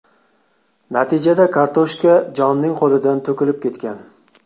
Natijada kartoshka Jonning qo‘lidan to‘kilib ketgan.